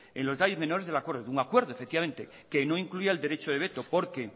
en los detalles menores del acuerdo un acuerdo efectivamente que no incluía el derecho de veto porque